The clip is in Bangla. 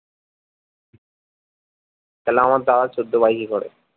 তাইলে আমার দাদা চোদ্দো পায় কি করে